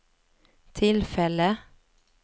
tillfälle